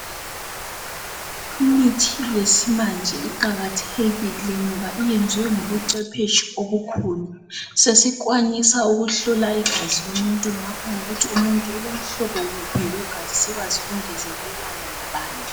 Imithi esimanje iqakathekile ngoba iyenziwe ngobucephetshu obukhulu. Sesikwanisa ukuhlola igazi lomuntu, lokuthi umuntu ulomhlobo uphi wegazi sikwazi ukungezelana labanye.